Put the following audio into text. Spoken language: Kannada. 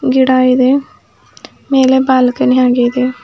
ಗಿಡ ಇದೆ ಮೇಲೆ ಬಾಲ್ಕನಿ ಹಾಗೆ ಇದೆ.